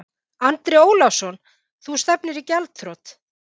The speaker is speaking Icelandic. Andri Ólafsson: Þú stefnir í gjaldþrot?